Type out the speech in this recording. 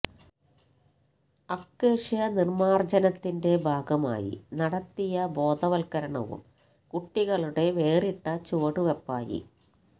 acacia നിര്മാര്ജനത്തിന്റെ ഭാഗമായി നടത്തിയ ബോധവല്കരണവും കുട്ടികളുടെ വേറിട്ട ചുവടുവെപ്പായി